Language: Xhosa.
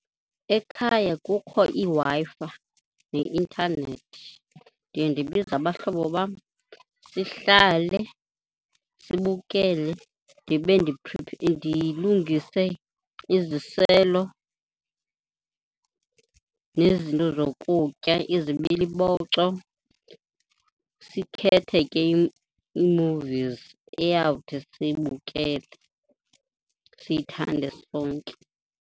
Ekhaya kukho iWi-Fi neintanethi, ndiye ndibize abahlobo bam sihlale sibukele. Ndibe ndilungise iziselo nezinto zokutya, izibiliboco. Sikhethe ke ii-movies eyawuthi siyibukele siyithande sonke.